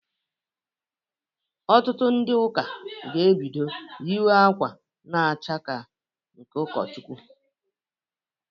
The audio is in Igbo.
Ọtụtụ ndị ụka ga-ebido yiwe akwa na-acha ka nke ụkọchukwu.